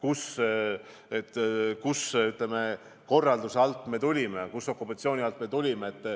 Ma mõistan, kust, millise riigikorralduse alt me tulime, millise okupatsiooni alt me tulime.